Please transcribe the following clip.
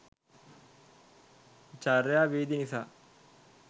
චර්යා විදි නිසා